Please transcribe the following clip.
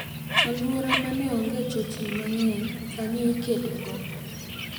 Aluora mane onge chochni mang'eny sani ikedogo.